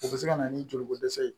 O bɛ se ka na ni joliko dɛsɛ ye